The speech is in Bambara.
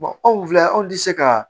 anw filɛ anw tɛ se ka